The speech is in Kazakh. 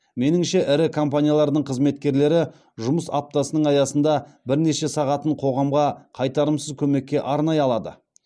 меніңше ірі компаниялардың қызметкерлері жұмыс аптасының аясында бірнеше сағатын қоғамға қайтарымсыз көмекке арнай алады